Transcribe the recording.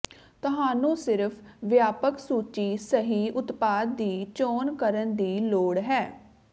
ਤੁਹਾਨੂੰ ਸਿਰਫ ਵਿਆਪਕ ਸੂਚੀ ਸਹੀ ਉਤਪਾਦ ਦੀ ਚੋਣ ਕਰਨ ਦੀ ਲੋੜ ਹੈ